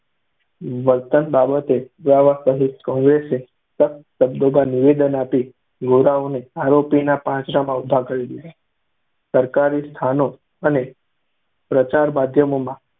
વર્તન બાબતે પુરાવા સહિત કૉંગ્રેસે સખત શબ્દોમાં નિવેદન આપી ગોરાઓને આરોપીના પાંજરામાં ઊભા કરી દીધા. સરકારી સ્થાનો અને પ્રચાર માધ્યમોમાં